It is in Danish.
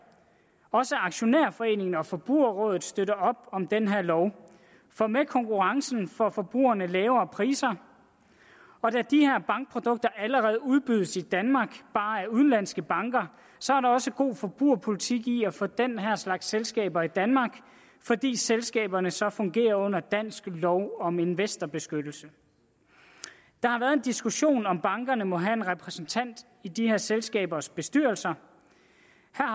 også dansk aktionærforening og forbrugerrådet støtter op om den her lov for med konkurrencen får forbrugerne lavere priser og da de her bankprodukter allerede udbydes i danmark bare af udenlandske banker så er der også god forbrugerpolitik i at få den her slags selskaber i danmark fordi selskaberne så fungerer under dansk lov om investorbeskyttelse der har været en diskussion om om bankerne må have en repræsentant i de her selskabers bestyrelser